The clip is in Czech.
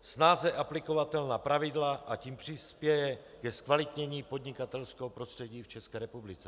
snáze aplikovatelná pravidla, a tím přispěje ke zkvalitnění podnikatelského prostředí v České republice.